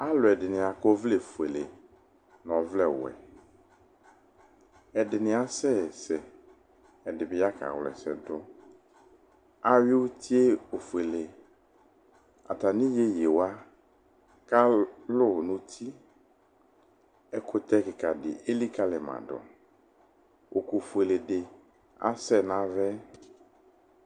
Alʋɛdɩnɩ akɔ ɔvlɛfuele nʋ ɔvlɛwɛ Ɛdɩnɩ asɛsɛ, ɛdɩ bɩ ya kawla ɛsɛ dʋ Ayʋɩ uti yɛ ofuele Atamɩ iyeye wa kalʋ nʋ uti Ɛkʋtɛ kɩka dɩ elikalɩ ma dʋ Ʋkʋfuele dɩ asɛ nʋ ava yɛ